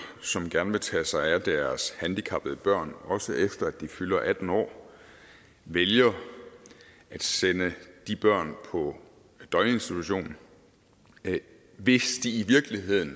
som gerne vil tage sig af deres handicappede børn også efter de fylder atten år vælger at sende de børn på en døgninstitution hvis de i virkeligheden